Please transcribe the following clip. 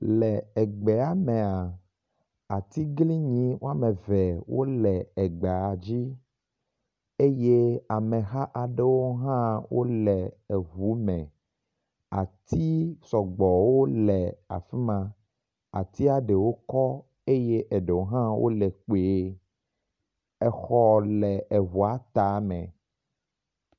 Le egbea mea atiglinyi woameve wóle egbadzi eyɛ ameha aɖewo hã wóle eʋu me, ati sɔgbɔwo le afima, atia eɖewo kɔ́ eyɛ eɖewo hã wóle kpuie, exɔ le eʋua tame